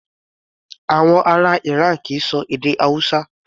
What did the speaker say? Àwọn ará Iran kì í ṣọ èdè Hausa.